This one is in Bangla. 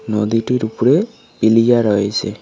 নদীটির উপরে পিলিয়া রয়েসে।